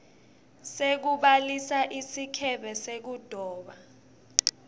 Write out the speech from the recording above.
sekubhalisa sikebhe sekudoba